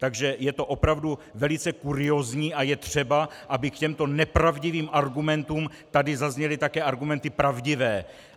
Takže je to opravdu velice kuriózní a je třeba, aby k těmto nepravdivým argumentům tady zazněly také argumenty pravdivé.